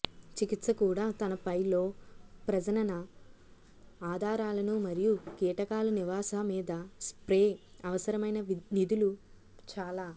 చికిత్స కూడా తనపై లో ప్రజనన ఆధారాలను మరియు కీటకాలు నివాస మీద స్ప్రే అవసరమైన నిధులు చాలా